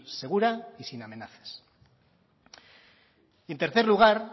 segura y sin amenazas en tercer lugar